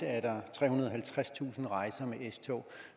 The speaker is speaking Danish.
trehundrede og halvtredstusind rejser med s tog